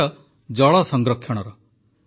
ଏହି ବିଷୟ ଜଳ ସଂରକ୍ଷଣର